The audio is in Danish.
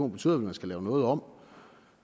betyder at man skal lave noget om